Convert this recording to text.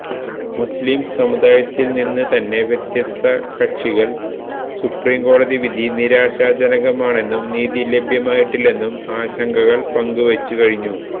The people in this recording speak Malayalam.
മുസ്ലിം സമുദായത്തിൽ നിന്ന് തന്നെ വ്യത്യസ്ത കക്ഷികൾ സുപ്രീംകോടതി വിധി നിരാശാജനകമാണെന്നും നീതി ലഭ്യമായിട്ടില്ലെന്നും ആശങ്കകൾ പങ്ക് വെച്ച് കഴിഞ്ഞു